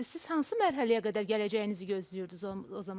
Siz hansı mərhələyə qədər gələcəyinizi gözləyirdiz o zaman?